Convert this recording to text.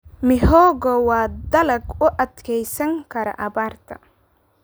Mihogo waa dalag u adkeysan kara abaarta.